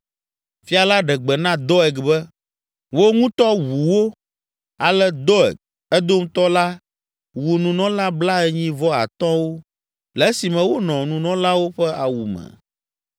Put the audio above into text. Fia la ɖe gbe na Doeg be, “Wò ŋutɔ wu wo!” Ale Doeg, Edomtɔ la wu nunɔla blaenyi-vɔ-atɔ̃wo le esime wonɔ nunɔlawo ƒe awu me.